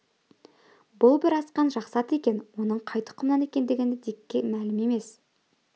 бұл бір асқан жақсы ат екен оның қай тұқымнан екендігі дикке мәлім емес